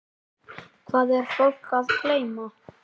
Hvað er fólk að geyma?